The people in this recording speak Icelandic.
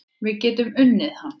Við getum unnið hann